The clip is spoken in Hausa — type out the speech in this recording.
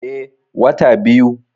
Eh, wata biyu